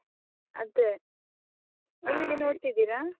ಅದೆ, ನೀವ್ ಎಲ್ಲಿ ನೋಡ್ತಾ ಇದ್ದೀರಾ ?